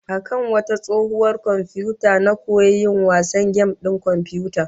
A kan wata tsohuwar komfiyuta na koyi yin wasan gem din komfiyuta